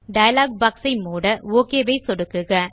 dialogue box ஐ மூட OK ஐ சொடுக்குக